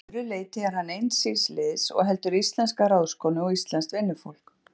Að öðru leyti er hann einn síns liðs og heldur íslenska ráðskonu og íslenskt vinnufólk.